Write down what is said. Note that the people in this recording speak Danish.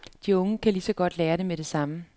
De unge kan lige så godt lære det med det samme.